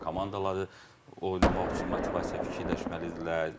Komandaları oynamaq üçün motivasiya fikirləşməlidirlər.